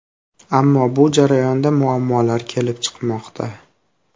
Ammo bu jarayonda muammolar kelib chiqmoqda.